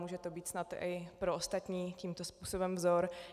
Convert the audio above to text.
Může to být snad i pro ostatní tímto způsobem vzor.